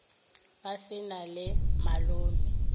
ba se na le malome